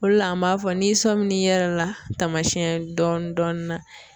O de la an b'a fɔ n'i sɔmin'i yɛrɛ la tamasiyɛn dɔɔni dɔɔni na